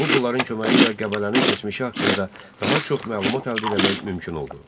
Bu pulların köməyi ilə Qəbələnin keçmişi haqqında daha çox məlumat əldə eləmək mümkün oldu.